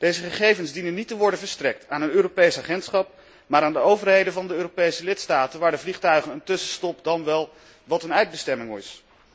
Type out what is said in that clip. Deze gegevens dienen niet te worden verstrekt aan een Europees agentschap, maar aan de overheden van de Europese lidstaten waar de vliegtuigen een tussenstop maken, dan wel hun eindbestemming hebben.